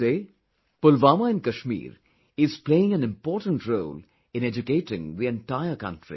Today, Pulwama in Kashmir is playing an important role in educating the entire country